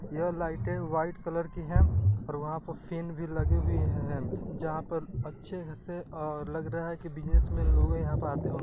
यह लाइटे white colour की है और वहाँ पे फेन भी लगे हुए हैं| जहाँ पर अच्छे ऐसे लग रहा की बिज़नेसमेन लोग यहाँ पे आते हों--